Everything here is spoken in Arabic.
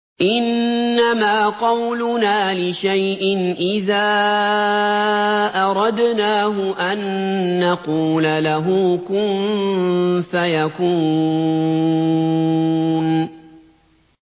إِنَّمَا قَوْلُنَا لِشَيْءٍ إِذَا أَرَدْنَاهُ أَن نَّقُولَ لَهُ كُن فَيَكُونُ